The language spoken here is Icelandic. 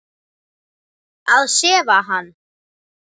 Að sefa hann.